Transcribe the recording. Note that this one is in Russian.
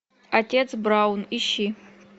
отец браун ищи